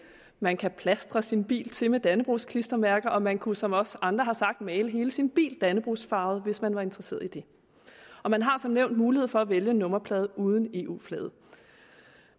man kan plastre sin bil til med dannebrogsklistermærker og man kunne som også andre har sagt male hele sin bil dannebrogsfarvet hvis man var interesseret i det og man har som nævnt mulighed for at vælge en nummerplade uden eu flaget